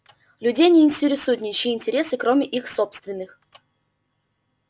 людей не интересуют ничьи интересы кроме их собственных